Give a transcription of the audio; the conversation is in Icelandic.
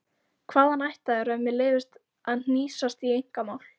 Hvaðan ættaður ef mér leyfist að hnýsast í einkamál?